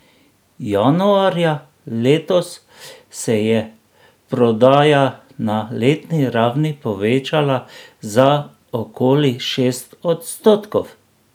Januarja letos se je prodaja na letni ravni povečala za okoli šest odstotkov.